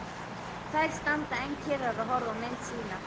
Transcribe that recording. Þær standa enn kyrrar og horfa á mynd sína.